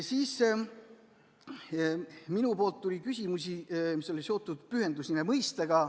Siis esitasin mina küsimusi, mis olid seotud pühendusnime mõistega.